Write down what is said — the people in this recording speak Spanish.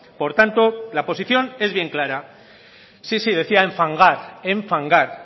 por tanto la posición es bien clara sí sí decía enfangar